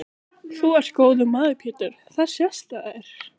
Þú ert góður maður Pétur það sést á þér.